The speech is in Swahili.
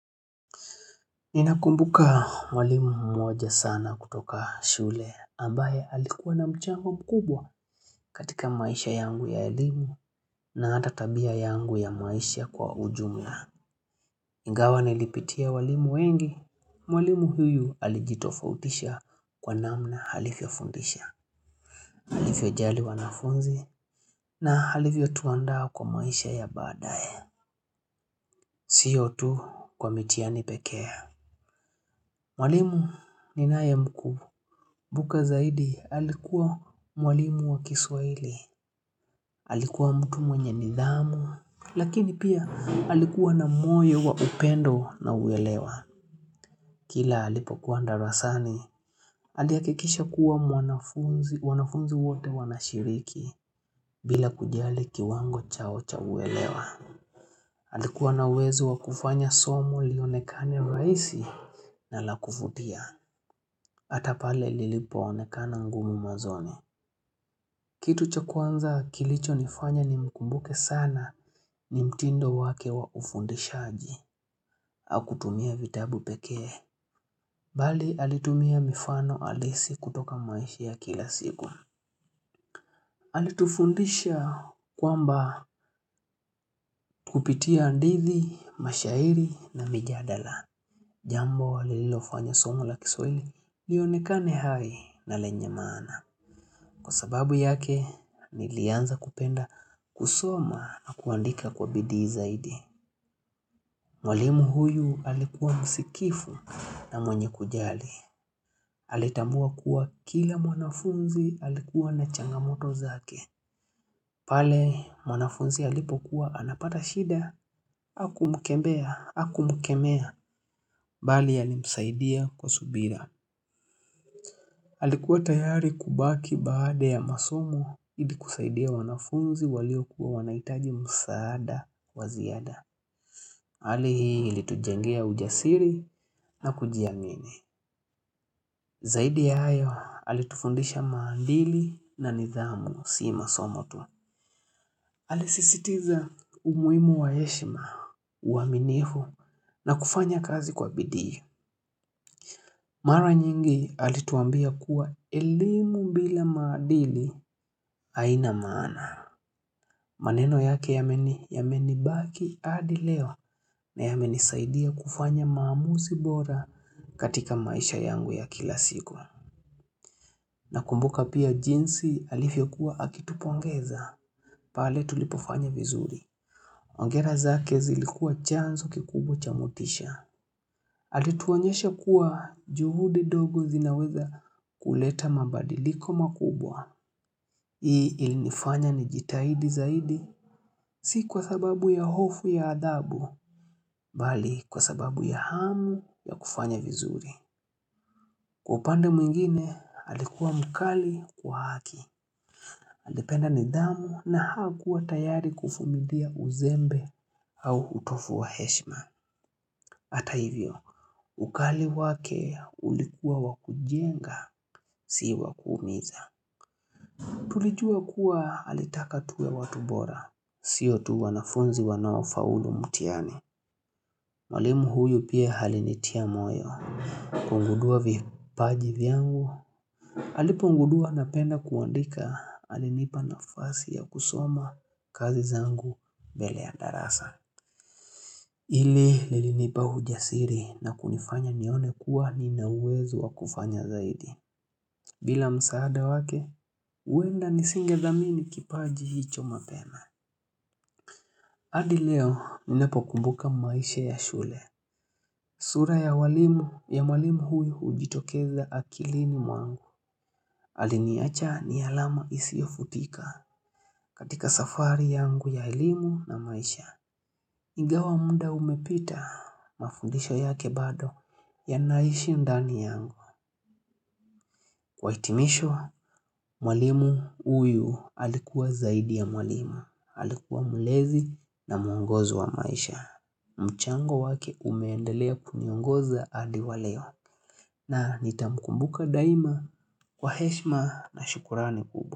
Ninakumbuka mwalimu mmoja sana kutoka shule ambaye alikuwa na mchango mkubwa katika maisha yangu ya elimu na hata tabia yangu ya maisha kwa ujumla. Ingawa nilipitia walimu wengi, mwalimu huyu alijitofautisha kwa namna alivyo fundisha, alivyo jali wanafunzi na alivyo tuandaa kwa maisha ya baadae. Siyo tu kwa mitiani pekee. Mwalimu ninaye mkumbu. Mbuka zaidi alikuwa mwalimu wa kiswaili. Alikuwa mtu mwenye nidhamu. Lakini pia alikuwa na moyo wa upendo na uwelewa. Kila alipokuwa darasani. Alihakikisha kuwa wanafunzi wote wanashiriki bila kujali kiwango chao cha uwelewa. Alikuwa na uwezo wakufanya somo lionekane rahisi na lakuvutia. Hata pale lilipo onekana ngumu mwanzoni. Kitu cha kuanza kilicho nifanya ni mkumbuke sana ni mtindo wake wa ufundishaji. Hakutumia vitabu pekee. Bali alitumia mifano alisi kutoka maisha ya kila siku. Alitufundisha kwamba kupitia hadithi, mashairi na mijadala. Jambo lililofanyo somo la kiswahili, lionekane hai na lenya maana. Kwa sababu yake, nilianza kupenda kusoma na kuandika kwa bidii zaidi. Mwalimu huyu alikuwa msikivu na mwenye kujali. Alitambua kuwa kila mwanafunzi alikuwa na changamoto zake. Pale mwanafunzi alipokuwa anapata shida, hakumkemea, hakumkemea, bali alimsaidia kwa subira. Halikuwa tayari kubaki baada ya masomo ili kusaidia wanafunzi waliokuwa wanaitaji msaada wa ziada. Hali hii ilitujengea ujasiri na kujiamini. Zaidi ya hayo alitufundisha maadili na nidhamu sii masomo tu. Alisisitiza umuhimu wa heshima, uwaminifu na kufanya kazi kwa bidii. Mara nyingi alituambia kuwa elimu bila maadili hainamana. Maneno yake yameni yameni baki hadi leo na yameni saidia kufanya maamuzi bora katika maisha yangu ya kila siku. Nakumbuka pia jinsi alivyokuwa akitupongeza. Pale tulipofanya vizuri. Hongera zake zilikua chanzo kikubwa cha motisha. Alituonyesha kuwa juhudi dogo zinaweza kuleta mabadiliko makubwa Hii ilinifanya ni jitahidi zaidi Si kwa sababu ya hofu ya adabu Bali kwa sababu ya hamu ya kufanya vizuri Kwa upande mwingine alikuwa mkali kwa haki Alipenda nidhamu na hakuwa tayari kuvumilia uzembe au utovu wa heshma Hata hivyo, ukali wake ulikuwa wa kujenga, si wa kuumiza Tulijua kuwa alitaka tuwe watu bora Sio tu wanafunzi wanaofaulu mtihani Mwalimu huyu pia alinitia moyo napongundua vipaji vyangu alipongudua napenda kuandika alinipa nafasi ya kusoma kazi zangu mbele ya darasa Hili lilinipa ujasiri na kunifanya nione kuwa nina uwezo wa kufanya zaidi. Bila msaada wake, huenda nisingethamini kipaji hicho mapena. Hadi leo, ninapo kumbuka maisha ya shule. Sura ya walimu, ya mwalimu huyu ujitokeza akilini mwangu. Aliniacha ni alama isiyo futika katika safari yangu ya elimu na maisha. Ingawa muda umepita mafundisho yake bado yanaishi ndani yangu. Kwa hitimisho, mwalimu huyu alikuwa zaidi ya mwalimu. Alikuwa mulezi na muongozi wa maisha. Mchango wake umeendelea kuniongoza hadi waleo. Na nitamukumbuka daima kwa heshma na shukurani kubwa.